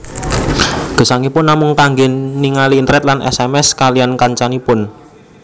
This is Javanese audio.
Gesangipun namung kangge ningali internet lan sms kaliyan kancanipun